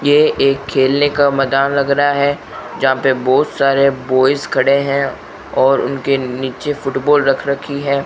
ये एक खेलने का मैदान लग रहा है जहां पे बहोत सारे बॉयेस खड़े हैं और उनके नीचे फुटबॉल रख रखी है।